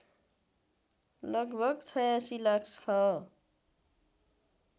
लगभग ८६ लाख छ